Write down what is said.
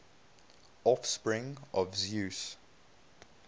offspring of zeus